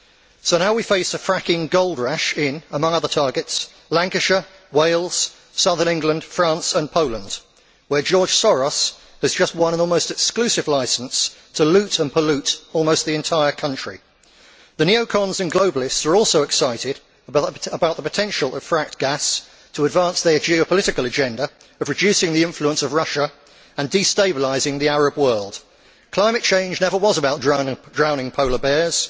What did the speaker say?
So now we face a fracking gold rush in, among other targets, Lancashire, Wales, southern England, France and Poland, where George Soros has just won an almost exclusive licence to loot and pollute almost the entire country. The neo cons and globalists are also excited about the potential of fracked gas to advance their geopolitical agenda of reducing the influence of Russia and destabilising the Arab world. Climate change never was about drowning polar bears.